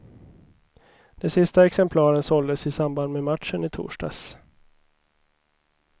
De sista exemplaren såldes i samband med matchen i torsdags.